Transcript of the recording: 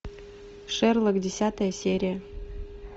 шерлок десятая серия